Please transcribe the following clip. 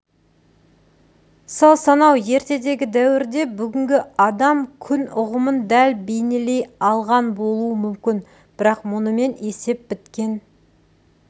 сол сонау ертедегі дәуірде бүгінгі адам-күн ұғымын дәл бейнелей алған болуы мүмкін бірақ мұнымен есеп біткен